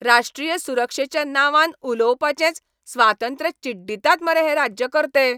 राश्ट्रीय सुरक्षेच्या नांवान उलोवपाचेंच स्वातंत्र्य चिड्डितात मरे हे राज्यकर्ते!